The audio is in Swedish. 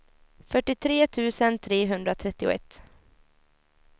fyrtiotre tusen trehundratrettioett